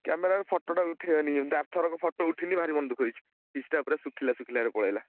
Camera ରେ photo ଟା ଉଠେଇବାନି କେମିତି ଆରଥରକ photo ଉଠିନି ଭାରି ମନ ଦୁଃଖ ହେଇଚି| feast ଟା ପୁରା ଶୁଖିଲା ଶୁଖିଲାରେ ପଳେଇଲା।